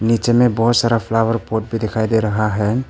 पीछे में बहुत सारा फ्लावर पॉट भी दिखाई दे रहा है।